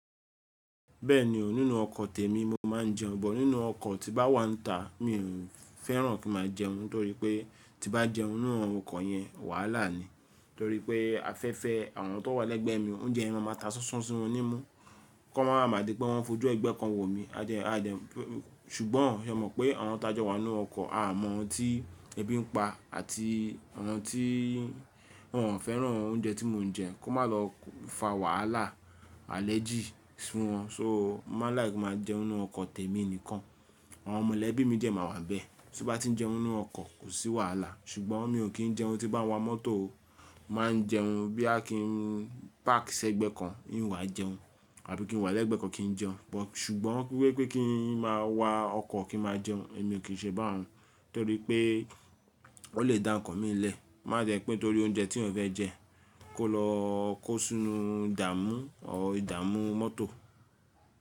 Bẹ́ẹ̀ni, nínú ọkọ̀ tèmi mo máa ń jẹun, but nínú ọkọ̀ tí bá wà nta mi fẹ́ràn kí ma jẹun nitorí pé tí bá jẹun nínú awon ọkọ̀ yẹn wàhálà ni. Torí pé afẹ́fẹ́ àwọn tó wà lẹ́gbẹ̀ mi, oúnjẹ mi máa ta sánsán sí won ní mú, kó máa wa ma di pé wọ́n fojú ẹgbẹ́ kan wò mi. A dẹ, a dẹ, ṣùgbọ́n e mọ̀ pé àwọn tá jọ wà nínú ọkọ̀, a mọ̀ ohun tí ẹbí ń pa àti àwọn tí wọ́n ò fẹ́ràn oúnjẹ tí mò ń jẹ, kó má lọ fa wàhálà alẹ́jì fún wọn. So, mo máa like ki n maa jẹun nínú ọkọ̀ tèmi nìkan. Àwọn mọlẹ́bí mi dẹ máa wà bẹ́ẹ̀, tí n bá ti jẹun nínú ọkọ̀ kò sí wàhálà, ṣùgbọ́n mi ò kí ń jẹun tí bá wà mọ́tò. Máa ń jẹun boya kí ń pákì sẹ́gbẹ̀ẹ́ kan, n wàá jẹun, àbí kí n wà lẹ́gbẹ̀ẹ́ kan kí n jẹun. But ṣùgbọ́n wípé kí n má wà ọkọ̀ kí n má jẹun, èmi ò kí ń ṣe bá un torí pé ó lè dá nnkan mi lẹ. Ko má jẹ pé torí oúnjẹ tí eyan fẹ́ jẹ kó lọ kó sínú ìdàmú or ìdàmú mọ́tò.